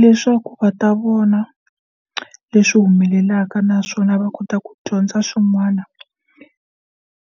Leswaku va ta vona leswi humelelaka naswona va kota ku dyondza swin'wana